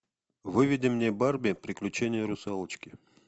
выведи мне барби приключение русалочки